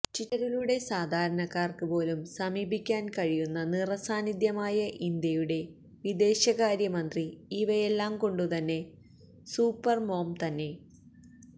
ട്വിറ്ററിലൂടെ സാധാരണക്കാര്ക്ക് പോലും സമീപിക്കാന് കഴിയുന്ന നിറ സാന്നിധ്യമായ ഇന്ത്യയുടെ വിദേശകാര്യ മന്ത്രി ഇവയെല്ലാം കൊണ്ടുതന്നെ സൂപ്പര്മോം തന്നെ